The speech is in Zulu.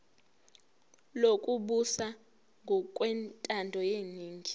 lokubusa ngokwentando yeningi